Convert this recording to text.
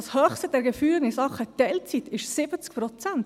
Das höchste der Gefühle in Sachen Teilzeit war 70 Prozent.